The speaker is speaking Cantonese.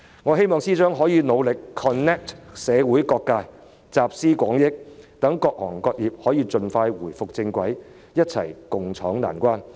我希望司長可以努力 connect 社會各界，集思廣益，讓各行各業得以盡快返回正軌，一起共渡難關。